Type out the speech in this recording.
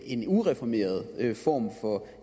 en ureformeret form for